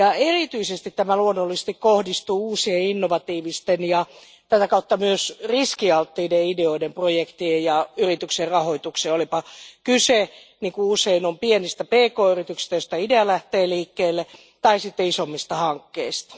Erityisesti tämä luonnollisesti kohdistuu uusien, innovatiivisten ja tätä kautta myös riskialttiiden ideoiden, projektien ja yritysten rahoitukseen, olipa kyse niin kuin usein on pienistä pk yrityksistä, joista idea lähtee liikkeelle, tai sitten isommista hankkeista.